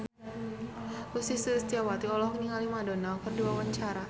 Ussy Sulistyawati olohok ningali Madonna keur diwawancara